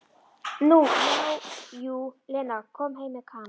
Nú já, jú, Lena kom heim með Kana.